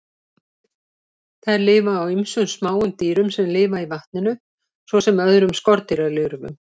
Þær lifa á ýmsum smáum dýrum sem lifa í vatninu, svo sem öðrum skordýralirfum.